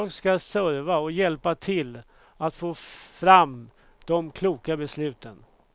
Jag ska serva och hjälpa till att få fram de kloka besluten.